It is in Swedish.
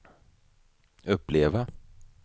uppleva